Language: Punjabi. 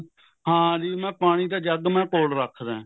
ਹਾਂਜੀ ਮੈਂ ਪਾਣੀ ਦਾ ਜੱਗ ਮੈਂ ਕੋਲ ਰੱਖਦਾ